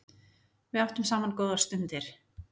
Við áttum saman góðar stundir.